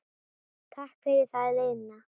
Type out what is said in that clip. Takk fyrir það liðna.